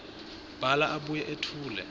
bhala abuye etfule